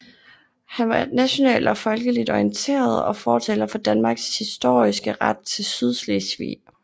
Han var nationalt og folkeligt orienteret og fortaler for Danmarks historiske ret til Sydslesvig